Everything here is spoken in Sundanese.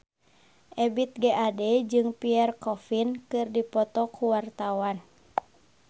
Ebith G. Ade jeung Pierre Coffin keur dipoto ku wartawan